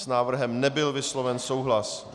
S návrhem nebyl vysloven souhlas.